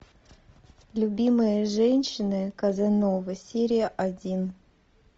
любимые женщины казановы серия один